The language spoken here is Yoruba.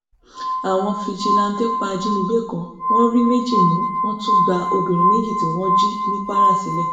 àwọn fijilanté pa ajínigbé kan wọn rí méjì mú wọn tún gba obìnrin méjì tí wọn jí ní kwara sílẹ